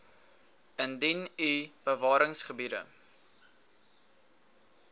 indien u bewaringsgebiede